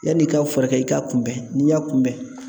Yanni i ka furakɛ i k'a kunbɛn n'i y'a kunbɛn